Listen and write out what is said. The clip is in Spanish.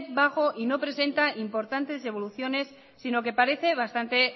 bajo y no presenta importantes evoluciones sino que parece bastante